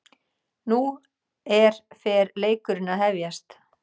Nú er fer leikurinn að hefjast